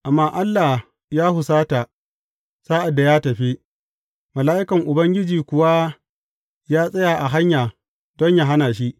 Amma Allah ya husata sa’ad da ya tafi, mala’ikan Ubangiji kuwa ya tsaya a hanya don yă hana shi.